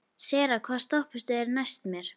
Sera, hvaða stoppistöð er næst mér?